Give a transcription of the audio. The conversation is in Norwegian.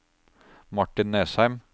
Martin Nesheim